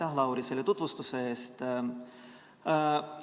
Aitäh, Lauri, selle tutvustuse eest!